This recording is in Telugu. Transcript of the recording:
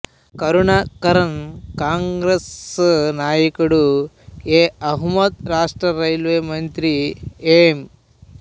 కరుణాకరన్ కాంగ్రెస్ నాయకుడు ఎ అహమ్మద్ రాష్ట్ర రైల్వే మంత్రి ఎం